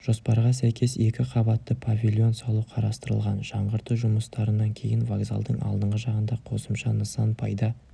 жоспарға сәйкес екі қабатты павильон салу қарастырылған жаңғырту жұмыстарынан кейін вокзалдың алдыңғы жағында қосымша нысан пайда